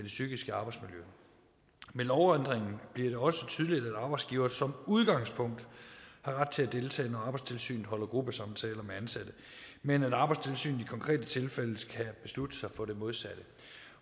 psykiske arbejdsmiljø med lovændringen bliver det også tydeligt at arbejdsgiveren som udgangspunkt har ret til at deltage når arbejdstilsynet holder gruppesamtaler med ansatte men at arbejdstilsynet i konkrete tilfælde kan beslutte sig for det modsatte